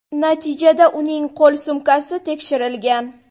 Natijada uning qo‘l sumkasi tekshirilgan.